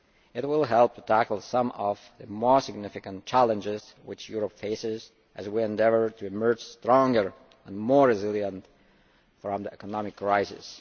It will help tackle some of the more significant challenges which Europe faces as we endeavour to emerge stronger and more resilient from the economic crisis.